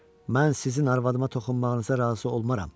Mən sizin arvadıma toxunmağınıza razı olmaram.